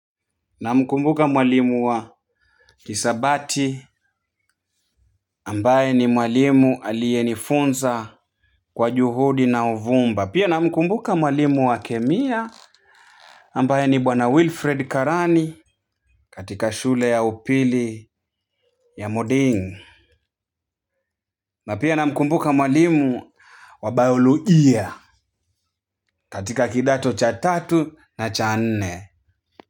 Namkumbuka mwalimu wa hisabati ambaye ni mwalimu aliyenifunza kwa juhudi na uvumba pia na mkumbuka mwalimu wa kemia ambaye ni bwana wilfred karani katika shule ya upili ya moding na pia na mkumbuka mwalimu wa biolojia katika kidato cha tatu na cha nne.